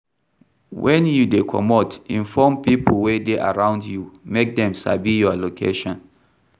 When you dey comot, inform pipo wey dey around you make dem sabi your location